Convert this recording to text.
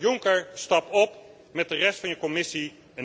Juncker, stap op met de rest van je Commissie!